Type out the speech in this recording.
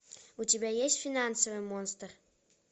у тебя есть финансовый монстр